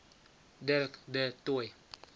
dirk du toit